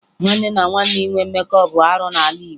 Nwanne na nwanne inwe mmekọ bụ arụ n'ala Igbo